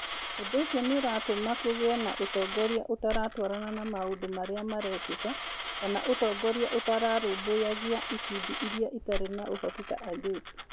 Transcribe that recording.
Ũndũ ũcio nĩ ũtũmaga kũgĩe na ũtongoria ũtaratwarana na maũndũ marĩa marekĩka, kana ũtongoria ũtararũmbũyagia ikundi iria itarĩ na ũhoti ta airĩtu.